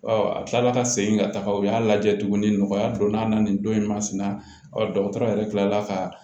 a kila la ka segin ka taga u y'a lajɛ tuguni nɔgɔya don n'a na nin don in masina dɔgɔtɔrɔ yɛrɛ tilala ka